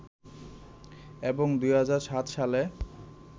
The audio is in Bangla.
এবং ২০০৭ সালে